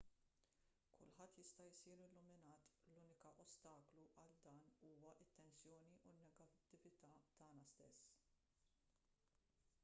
kulħadd jista' jsir illuminat l-unika ostaklu għal dan huwa t-tensjoni u n-negattività tagħna stess